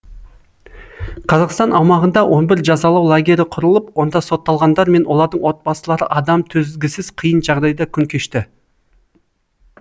қазақстан аумағында он бір жазалау лагері құрылып онда сотталғандар мен олардың отбасылары адам төзгісіз қиын жағдайда күн кешті